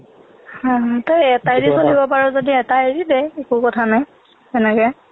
হয় হয় তই এটা এৰি চলিব পাৰ যদি এটা এৰি দে একো কথা নাই সেনেকে